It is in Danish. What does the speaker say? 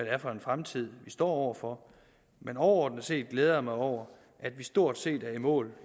er for en fremtid vi står over for men overordnet set glæder jeg mig over at vi stort set er i mål